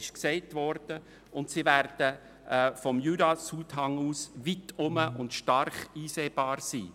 Sie werden vom Jura-Südfuss aus weit herum und deutlich zu sehen sein.